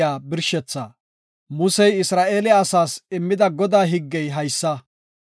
Musey Isra7eele asaas immida Godaa higgey haysa;